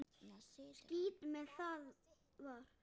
Skítt með hvað það var.